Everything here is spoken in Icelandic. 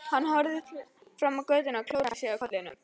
Hann horfði fram á götuna og klóraði sér í kollinum.